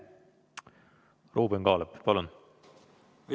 Ruuben Kaalep, palun!